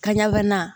Ka ɲagaminan